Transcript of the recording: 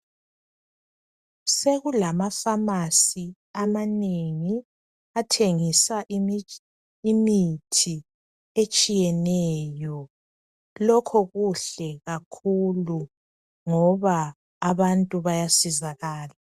Sekulamafamasi amanengi athengisa imitsh... imithi etshiyeneyo. Lokho kuhle kakhulu ngoba abantu bayasizakala.